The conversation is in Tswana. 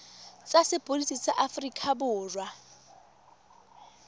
tsa sepodisi sa aforika borwa